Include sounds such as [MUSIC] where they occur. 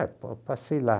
Aí [UNINTELLIGIBLE] eu passei lá.